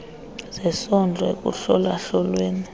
zesondlo ekuhlola hlolweni